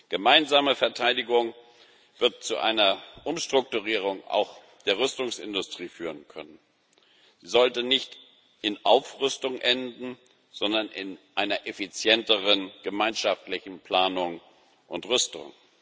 Gemeinsame Verteidigung wird zu einer Umstrukturierung auch der Rüstungsindustrie führen können. Sie sollte nicht in Aufrüstung enden, sondern in einer effizienteren gemeinschaftlichen Planung und Rüstung.